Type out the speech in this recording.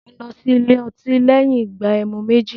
Mò ń lọ sí ilé otí lẹ́yìn ìgbà ẹmu méjì